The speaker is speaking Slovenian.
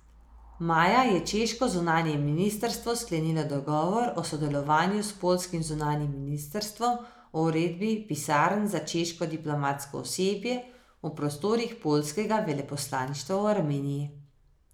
Maja je češko zunanje ministrstvo sklenilo dogovor o sodelovanju s poljskim zunanjim ministrstvom o ureditvi pisarn za češko diplomatsko osebje v prostorih poljskega veleposlaništva v Armeniji.